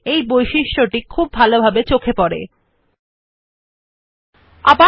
এই বৈশিষ্ট্য হল যে এর বেশী করে চোখে পড়ে যখন আপনি একটি লেখার লাইন অথবা অনুচ্ছেদ আছে